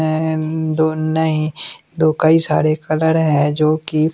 कई सारे कलर है जो की--